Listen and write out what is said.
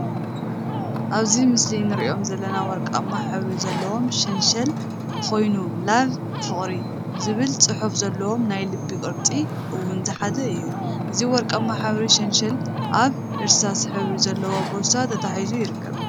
አብዚ ምስሊ እንሪኦም ዘለና ወርቃማ ሕብሪ ዘለዎ ሸንሸል ኮይኑ ላቭ/ፍቅሪ/ ዝብል ፅሑፍ ዘለዎን ናይ ልቢ ቅርፂ እውን ዝሓዘን እዩ፡፡ እዚ ወርቃማ ሕብሪ ሸንሸል አብ እርሳስ ሕብሪ ዘለዎ ቦርሳ ተተሓሒዙ ይርከብ፡፡